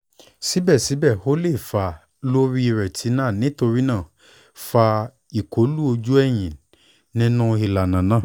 sibẹsibẹ o le fa lori retina nítorí náà fa ikọlu oju ẹhin ninu ilana naa